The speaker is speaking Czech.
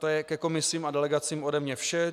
To je ke komisím a delegacím ode mne vše.